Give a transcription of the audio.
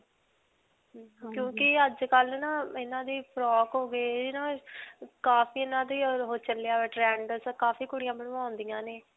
ਕਿਉਂਕਿ ਅੱਜਕਲ੍ਹ ਨਾ ਇਨ੍ਹਾਂ ਦੀ frock ਹੋ ਗਏ ਕਾਫੀ ਇਨ੍ਹਾਂ ਚੱਲਿਆ ਹੋਇਆ ਹੈ trend. ਕਾਫੀ ਕੁੜੀਆਂ ਬੰਵਾਉਂਦੀਆਂ ਨੇ.